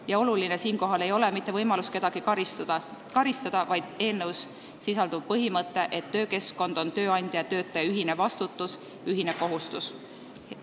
Ja oluline ei ole seejuures mitte võimalus kedagi karistada, vaid eelnõus sisalduv põhimõte, et töökeskkond on tööandja ja töötaja ühine vastutus, ühine kohustus.